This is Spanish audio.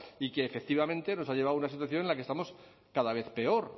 y que efectivamente nos ha llevado a una situación en la que estamos cada vez peor